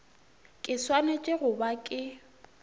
ke swanetše go ba ke